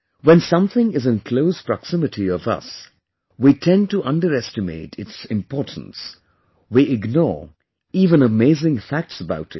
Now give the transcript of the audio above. When something is in close proximity of us, we tend to underestimate its importance; we ignore even amazing facts about it